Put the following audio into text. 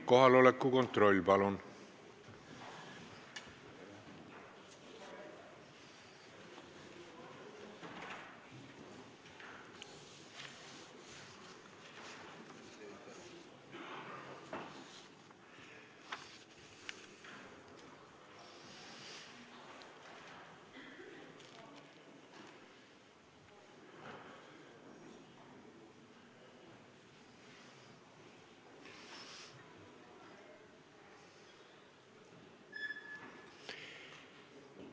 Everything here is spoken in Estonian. Kohaloleku kontroll, palun!